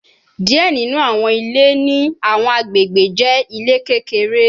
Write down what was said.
Diẹ ninu awọn ile ni awọn agbegbe jẹ ile kekere